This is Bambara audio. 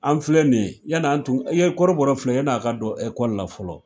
An filɛ nin ye, yann'an tun, i ye kɔrɔbɔrɔ filɛ yann'a ka don ekɔli la fɔlɔ